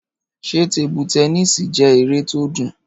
Ṣé tebu tẹnísì jẹ́ eré tó dùn?